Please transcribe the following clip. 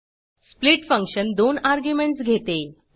split function दोन arguments घेते